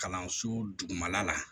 Kalanso dugumala la